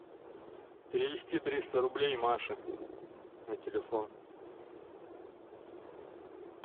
перевести триста рублей маше на телефон